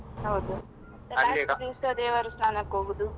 ಹೌದು last ದಿವ್ಸ ದೇವರು ಸ್ಥಾನಕ್ಕೆ ಹೋಗುದು.